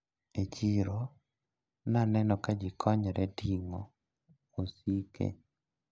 E chiro naneno kajikonyre ting`o osike.